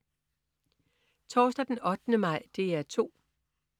Torsdag den 8. maj - DR 2: